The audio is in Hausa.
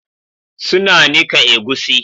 Suna nika egusi